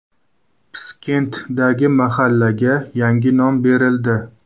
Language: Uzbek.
Piskentdagi mahallaga yangi nom berildi.